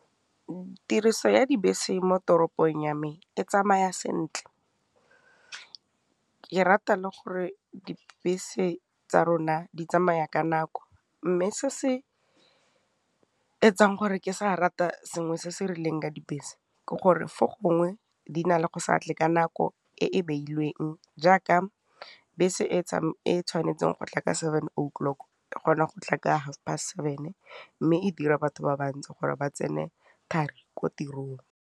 Tiriso ya dibese mo toropong ya me e tsamaya sentle, ke rata le gore dibese tsa rona di tsamaya ka nako, mme se se etsang gore ke sa rata sengwe se se rileng ka dibese, ke gore fo gongwe di na le go sa tle ka nako e e beilweng jaaka bese e e tshwanetseng go tla ka seven o'clock, e kgona go tla ka halfpast seven, mme e dira batho ba bantsi gore ba tsene thari ko tirong.